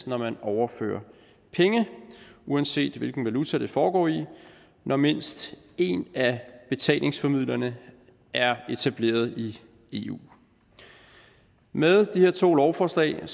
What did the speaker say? når man overfører penge uanset hvilken valuta det foregår i når mindst en af betalingsformidlerne er etableret i eu med de her to lovforslag